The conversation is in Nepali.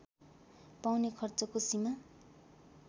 पाउने खर्चको सीमा